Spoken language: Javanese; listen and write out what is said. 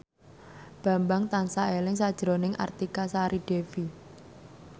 Bambang tansah eling sakjroning Artika Sari Devi